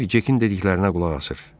Harvi Cekin dediklərinə qulaq asır.